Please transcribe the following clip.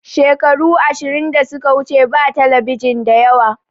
Shekaru ashirin da suka wuce ba talabijin da yawa